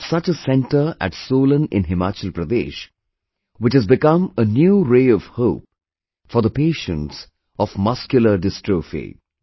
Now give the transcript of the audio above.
We have such a centre at Solan in Himachal Pradesh, which has become a new ray of hope for the patients of Muscular Dystrophy